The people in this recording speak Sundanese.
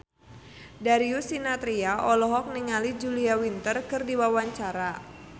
Darius Sinathrya olohok ningali Julia Winter keur diwawancara